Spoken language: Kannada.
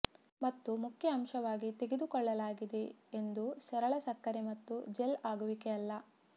ಮತ್ತು ಮುಖ್ಯ ಅಂಶವಾಗಿ ತೆಗೆದುಕೊಳ್ಳಲಾಗಿದೆ ಎಂದು ಸರಳ ಸಕ್ಕರೆ ಮತ್ತು ಜೆಲ್ ಆಗುವಿಕೆ ಅಲ್ಲ